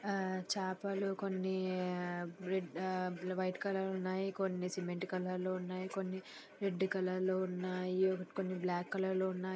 ఆ చాపలు కొన్ని ఆ రెడ్ ఆ వైట్ కలర్ లో ఉన్నాయి. కొన్ని సిమెంట్ కలర్ లో ఉన్నాయి కొన్ని రెడ్ కలర్ లో ఉన్నాయి కొన్ని బ్లాక్ కలర్ లో ఉన్నాయి.